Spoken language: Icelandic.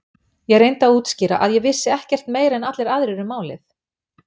Ég reyndi að útskýra að ég vissi ekkert meira en allir aðrir um málið.